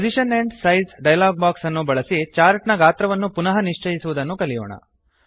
position and size dialog box ಅನ್ನು ಬಳಸಿ chart ನ ಗಾತ್ರವನ್ನು ಪುನಃ ನಿಶ್ಚಯಿಸುವುದನ್ನು ಕಲಿಯೋಣ